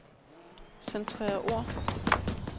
Centrer ord.